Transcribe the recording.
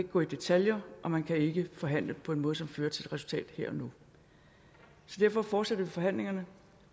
gå i detaljer og man kan ikke forhandle på en måde som fører til et resultat her og nu så derfor fortsætter vi forhandlingerne